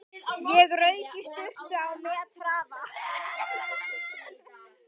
Ég rauk í sturtu á methraða.